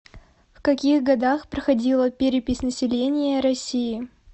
в каких годах проходила перепись населения россии